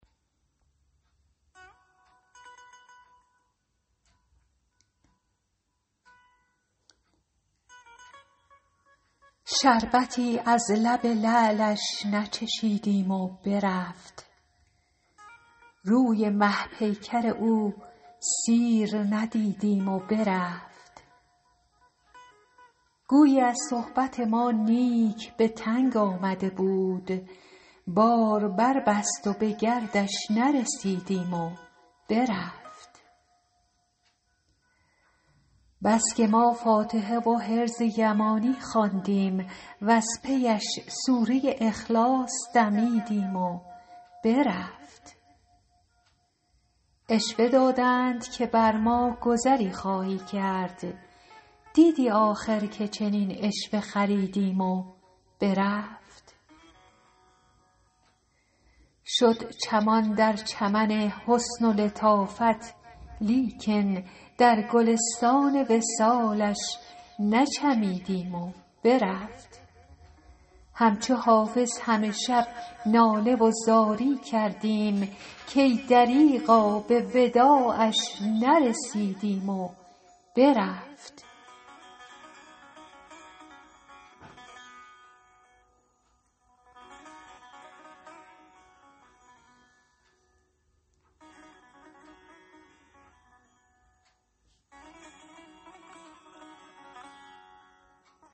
شربتی از لب لعلش نچشیدیم و برفت روی مه پیکر او سیر ندیدیم و برفت گویی از صحبت ما نیک به تنگ آمده بود بار بربست و به گردش نرسیدیم و برفت بس که ما فاتحه و حرز یمانی خواندیم وز پی اش سوره اخلاص دمیدیم و برفت عشوه دادند که بر ما گذری خواهی کرد دیدی آخر که چنین عشوه خریدیم و برفت شد چمان در چمن حسن و لطافت لیکن در گلستان وصالش نچمیدیم و برفت همچو حافظ همه شب ناله و زاری کردیم کای دریغا به وداعش نرسیدیم و برفت